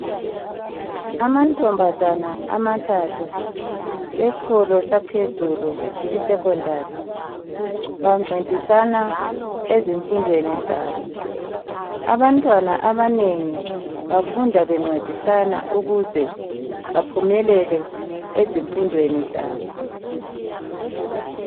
amantombazane amathathu awesikolo saphezulu e secondary bancedisana ezimfundweni zabo abantwana abanengi bafunda bencedisane ukuze baphumelele ezimfundweni zabo